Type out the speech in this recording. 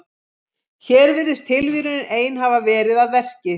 Hér virðist tilviljunin ein hafa verið að verki.